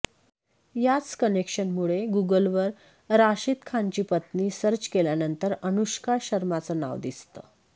याच कनेक्शनमुळे गुगलवर राशिद खानची पत्नी सर्च केल्यानंतर अनुष्का शर्माचं नाव दिसतं